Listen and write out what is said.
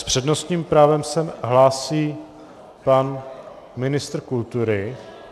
S přednostním právem se hlásí pan ministr kultury.